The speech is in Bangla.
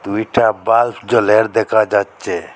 দুইটা বাল্ব জ্বলের দেখা যাচ্ছে।